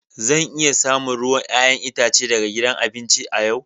Zan iya samun ruwan 'ya'yan itace daga gidan abinci a yau.